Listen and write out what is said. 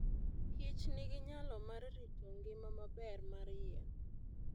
kich nigi nyalo mar rito ngima maber mar yien.